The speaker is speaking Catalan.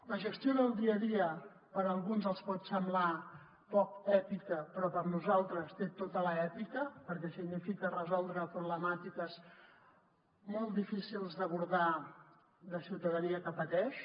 la gestió del dia a dia a alguns els pot semblar poc èpica però per nosaltres té tota l’èpica perquè significa resoldre problemàtiques molt difícils d’abordar de ciutadania que pateix